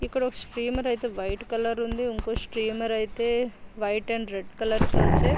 ఇక్కడ ఒక్క స్టీమర్ అయితే వైట్ కలర్ లో ఉంది. ఇంకో స్టీమర్ అయితే వైట్ అండ్ రెడ్ కలర్స్ లో వచ్చే --